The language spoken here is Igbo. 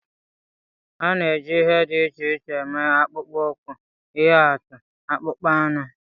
A na-eji ihe dị iche iche eme akpụkpọ ụkwụ, ihe atụ; akpụkpọ anụ